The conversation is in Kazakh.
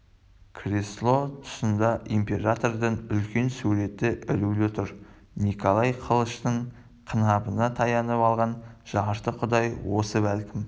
кресло тұсында императордың үлкен суреті ілулі тұр николай қылыштың қынабына таянып алған жарты құдай осы бәлкім